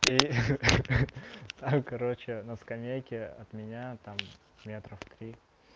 и ха-ха там короче на скамейке от меня там метров три